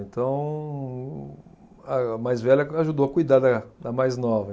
Então, a mais velha ajudou a cuidar da da mais nova.